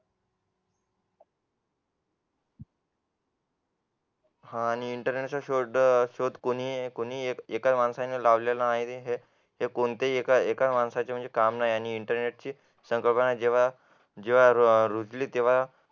आणि इंटरनेटचा शोध कोणी एका माणसाने लावलेला आहे ते कोणत्याही एका माणसाचे म्हणजे काम नाही म्हणजे इंटरनेट ही संकल्पना जेव्हा रुजली तेव्हा